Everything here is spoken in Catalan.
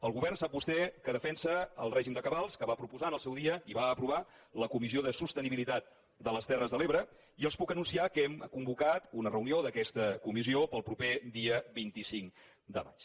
el govern ho sap vostè defensa el règim de cabals que va proposar en el seu dia i va aprovar la comissió de sostenibilitat de les terres de l’ebre i els puc anunciar que hem convocat una reunió d’aquesta comissió per al proper dia vint cinc de maig